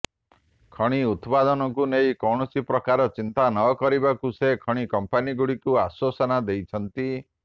ଖଣି ଉତ୍ପାଦନକୁ ନେଇ କୌଣସି ପ୍ରକାର ଚିନ୍ତା ନ କରିବାକୁ ସେ ଖଣି କମ୍ପାନିଗୁଡ଼ିକୁ ଆଶ୍ୱାସନା ଦେଇଛନ୍ତି